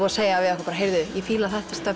að segja ég fíla þetta